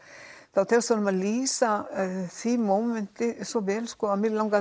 þá tekst honum að lýsa því mómenti svo vel að mig langaði